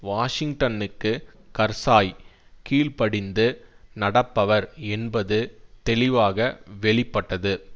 வாஷிங்டனுக்கு கர்சாய் கீழ் படிந்து நடப்பவர் என்பது தெளிவாக வெளி பட்டது